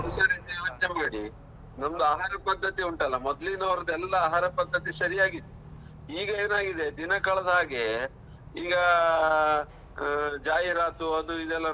ಯೊಚ್ನೆ ಮಾಡಿ, ನಮ್ದು ಆಹಾರ ಪದ್ಧತಿ ಉಂಟಲ್ಲಾ ಮೊದ್ಲಿನವರದೆಲ್ಲಾ ಆಹಾರ ಪದ್ಧತಿ ಸರಿಯಾಗಿತ್ತು. ಈಗ ಏನಾಗಿದೆ ದಿನ ಕಳೆದ ಹಾಗೇ, ಈಗಾ ಆ ಜಾಹಿರಾತು ಅದು ಇದು ಎಲ್ಲ.